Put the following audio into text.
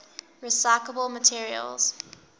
recyclable materials